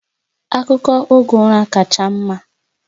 Akụkọ oge ụra kacha mma